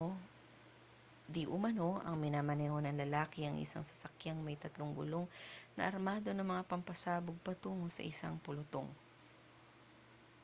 diumano ay minaneho ng lalaki ang isang sasakyang may tatlong gulong na armado ng mga pampasabog patungo sa isang pulutong